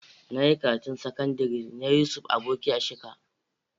Na yi karatun sakandire na Yusuf Aboki a Shika.